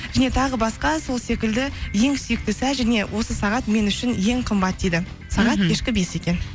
және тағы басқа сол секілді ең сүйікті сәт және осы сағат мен үшін ең қымбат дейді сағат кешкі бес екен